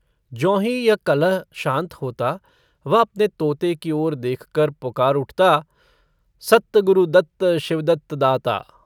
ज्योंही यह कलह शान्त होता वह अपने तोते की ओर देखकर पुकार उठता - सत्त गुरुदत्त शिवदत्त दाता।